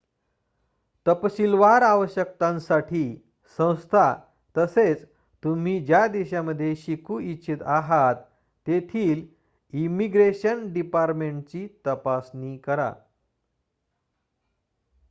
तपशीलवार आवश्यकतांसाठी संस्था तसेच तुम्ही ज्या देशामध्ये शिकू इच्छित आहात तेथील इमिग्रेशन डिपार्टमेंटची तपासणी करा